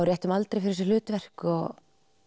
réttum aldri fyrir þessi hlutverk og